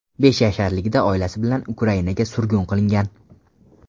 Besh yasharligida oilasi bilan Ukrainaga surgun qilingan.